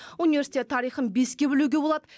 университет тарихын беске бөлуге болады